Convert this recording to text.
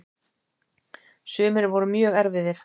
Sumir voru mjög erfiðir.